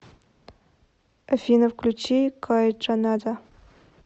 афина включи кайтранада